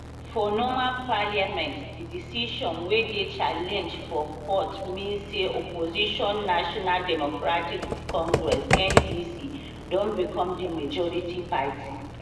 for normal parliament di decision wey dey challenged for court mean say opposition national democratic congress ndc don become di majority party